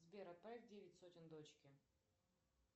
сбер отправь девять сотен дочке